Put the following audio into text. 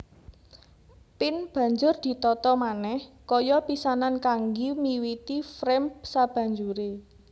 Pin banjur ditata manèh kaya pisanan kanggi miwiti frame sabanjure